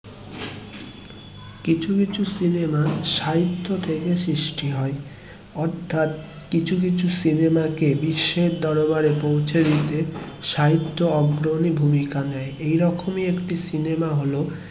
কিছু কিছু সিনেমা সাহিত্য থেকে সৃষ্টি হয়ে অর্থাৎ কিছু কিছু সিনেমা কে বিশ্বের দরবারে পৌঁছে দিতে সাহিত্য অগ্রণী ভূমিকা নেয়. এই রকম একটি সিনেমা হলো